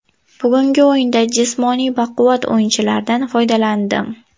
Bugungi o‘yinda jismoniy baquvvat o‘yinchilardan foydalandim.